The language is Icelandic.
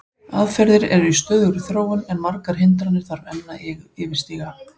Aðferðir eru í stöðugri þróun en margar hindranir þarf að enn yfirstíga.